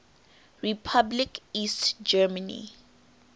republic east germany